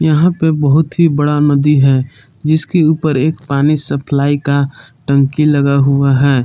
यहां पे बहुत ही बड़ा नदी है जिसके ऊपर एक पानी सप्लाई का टंकी लगा हुआ है।